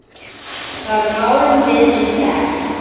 Þar málum við líka egg.